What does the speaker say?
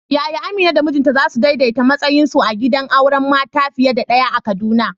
Yaya Amina da mijinta za su daidaita matsayinsu a gidan auren mata fiye da ɗaya a Kaduna?